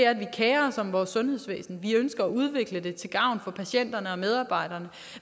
at vi kerer os om vores sundhedsvæsen at vi ønsker at udvikle det til gavn for patienterne og medarbejderne